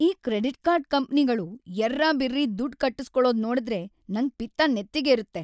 ಈ credit card ಕಂಪ್ನಿಗಳು ಯರ್ರಾಬಿರ್ರಿ ದುಡ್ಡ್ ಕಟ್ಟುಸ್ಕೊಳೋದ್ ನೋಡ್‌ದ್ರೆ ನಂಗ್ ಪಿತ್ತ ನೆತ್ತಿಗೇರುತ್ತೆ.